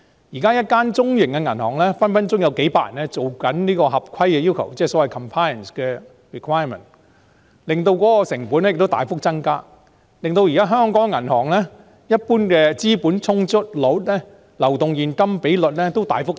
現時，一間中型銀行隨時有數百人負責合規要求的工作，即 compliance requirement， 使成本大幅增加，令香港銀行的資本充足率、流動現金比率大幅提升。